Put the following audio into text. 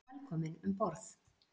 Velkominn um borð.